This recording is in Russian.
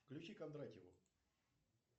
включи кондратьеву